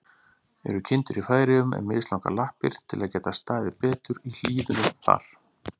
Eru kindur í Færeyjum með mislangar lappir, til að geta staðið betur í hlíðunum þar?